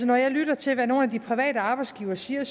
når jeg lytter til hvad nogle af de private arbejdsgivere siger